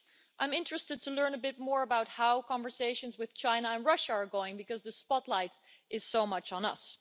I'm interested to learn a bit more about how conversations with China and Russia are going, because the spotlight is so much on us.